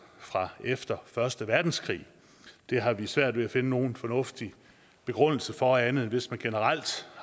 fra efter første verdenskrig det har vi svært ved at finde nogen fornuftige begrundelser for andet end hvis man generelt